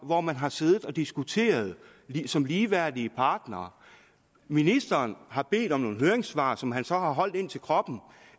hvor man har siddet og diskuteret som ligeværdige partnere ministeren har bedt om nogle høringssvar som han så har holdt ind til kroppen